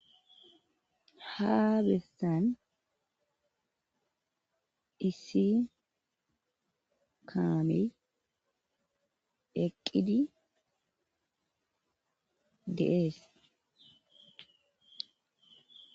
habessan iisi kami eqqidi deees